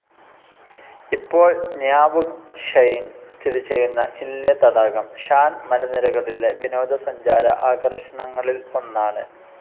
ഇപ്പോൾ ന്യാവുങ് ഷ്വെയിൽ സ്ഥിതിചെയ്യുന്ന ഇന്ലെ തടാകം ഷാൻ മലനിരകളിലെ വിനോദ സഞ്ചാര ആകർഷണങ്ങളിൽ ഒന്നാണ്.